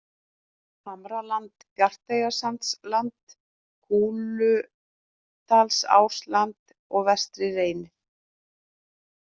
Hamraland, Bjarteyjarsandsland, Kúludalsárland, Vestri Reynir